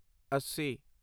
ਅੱਸੀ